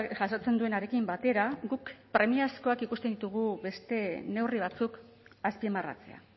jasotzen duenarekin batera guk premiazkoak ikusten ditugu beste neurri batzuk azpimarratzea